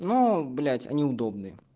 ну блять они удобные